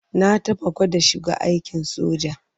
Na taɓa gwada shiga aikin soja.